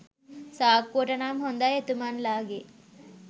සාක්කුවට නම් හොඳයි එතුමන්ලාගේ